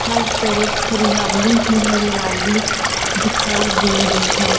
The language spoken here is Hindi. हर तरफ हरियाली ही हरियाली दिखाई दे रही है।